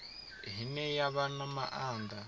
ine ya vha na maanḓa